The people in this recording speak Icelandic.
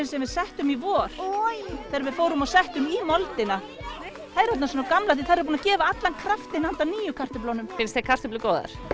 sem við settum í vor þegar við fórum og settum í moldina þær eru orðnar svona gamlar því þær eru búnar að gefa allan kraftinn handa nýju kartöflunum finnst þér kartöflur góðar